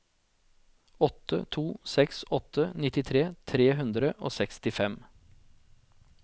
åtte to seks åtte nittifire tre hundre og sekstifem